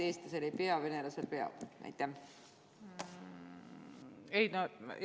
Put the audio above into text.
Et eestlasel ei pea, venelasel peab?